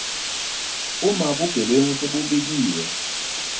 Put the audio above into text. uma bugebengu sebubikiwe